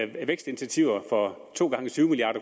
vækstinitiativer for to gange tyve milliard